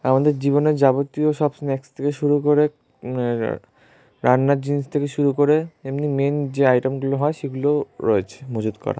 আমাদের জীবনে যাবতীয় সব স্ন্যাক্স থেকে শুরু করে এ আ রান্নার জিনিস থেকে শুরু করে এমনি মাইন যে আইটেম গুলো হয় সেগুলোও রয়েছে মজুত করা।